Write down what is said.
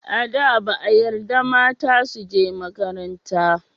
A da, ba a yarda mata su je makaranta.